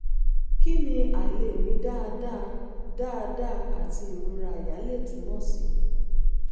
kí ni àìlèmí dáadáa dáadáa àti ìrora àyà lè túmọ̀ sí?